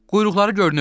Quyruqları görünür.